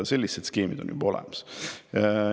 Sellised skeemid on juba olemas.